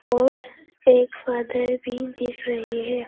और एक फॉदर भी दिख रहे है।